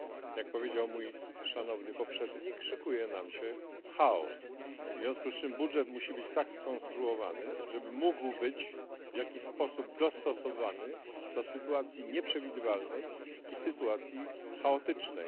Jak powiedział mój szanowny poprzednik szykuje nam się chaos, w związku z czym budżet musi być tak skonstruowany, żeby mógł być w jakiś sposób dostosowany do sytuacji nieprzewidywalnej i sytuacji chaotycznej.